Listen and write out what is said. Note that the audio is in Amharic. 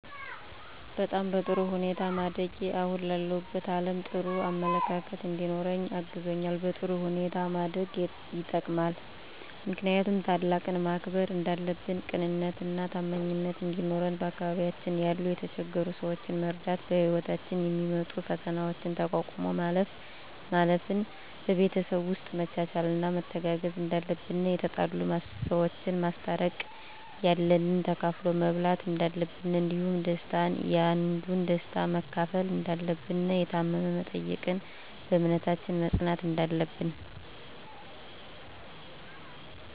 በጣም በጥሩ ሁኔታ ማደጌ አሁን ላለሁበት አለም ጥሩ አመለካከት እንዲኖረኝ አግዞኛል በጥሩ ሁኔታ ማደግ የጠቅማል ምክንያቱም ታላቅን ማክበር እንዳለብን ቅንነትና ታማኝነት እንዲኖረን በአካባቢያችን ያሉ የተቸገሩ ሰዎችን መርዳት በህይወታችን የሚመጡ ፈተናዎችን ተቋቁሞ ማለፍ ን በቤተሰብ ውስጥ መቻቻልና መተጋገዝ እንዳለብን የተጣሉ ሰዎችን ማስታረቅ ያለንን ተካፍሎ መብላት እንዳለብን እንዲሁም ደስታን ያንዱን ደስታ መካፈል እንዳለብን የታመመ መጠየቅን በእምነታችን መፅናት እንዳለብን